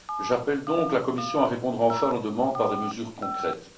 J'appelle donc la Commission à répondre enfin à nos demandes par des mesures concrètes.